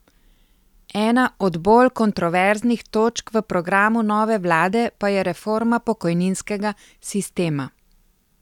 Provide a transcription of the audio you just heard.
Ena od bolj kontroverznih točk v programu nove vlade pa je reforma pokojninskega sistema.